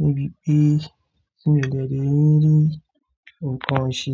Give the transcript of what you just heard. níbi pé tí mio dẹ́ dẹ́ rí nǹkan ṣe.